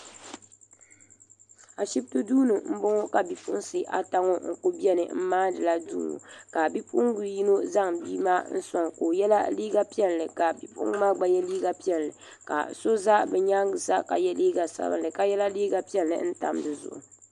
Ashipti duuni m boŋɔ ka bipuɣinsi ata ŋɔ kuli beni m maani la duu ka bipuɣinga yino bia maa n soŋ ka o yela liiga piɛlli ka bipuɣinga maa gba ye liiga piɛlli ka so za nyaanga sa ka ye liiga sabinli ka ka yrla liiga piɛlli n tam dizuɣu.